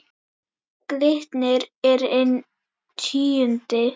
Glitnir er inn tíundi